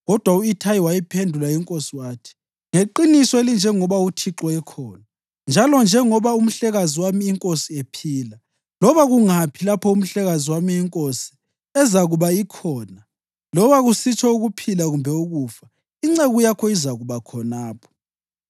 Kodwa u-Ithayi wayiphendula inkosi wathi, “Ngeqiniso elinjengoba uThixo ekhona, njalo njengoba umhlekazi wami inkosi, ephila, loba kungaphi lapho umhlekazi wami inkosi ezakuba ikhona, loba kusitsho ukuphila kumbe ukufa, inceku yakho izakuba khonapho.”